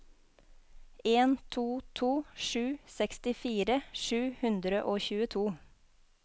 en to to sju sekstifire sju hundre og tjueto